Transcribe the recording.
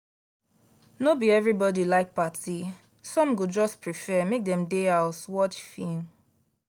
no be everybody like party some go just prefer make dem dey house watch film